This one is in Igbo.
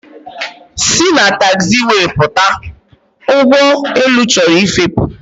Si na taxiway pụta! ụgbọelu chọrọ ịfepụ